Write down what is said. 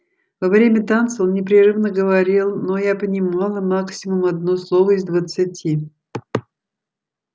во время танца он непрерывно говорил но я понимала максимум одно слово из двадцати